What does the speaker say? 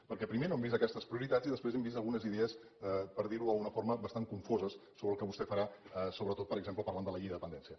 perquè primer no hem vist aquestes prioritats i després hem vist algunes idees per dir ho d’alguna forma bastant confoses sobre el que vostè farà sobretot per exemple parlant de la llei de dependència